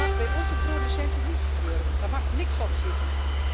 Dat mag bij onze producenten niet gebeuren, daar mag niks op zitten.